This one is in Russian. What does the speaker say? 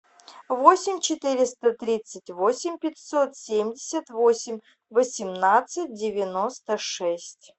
восемь четыреста тридцать восемь пятьсот семьдесят восемь восемнадцать девяносто шесть